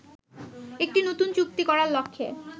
একটি নতুন চুক্তি করার লক্ষ্যে